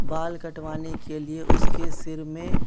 बाल कटवाने के लिए उसके सिर में --